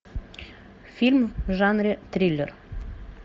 фильм в жанре триллер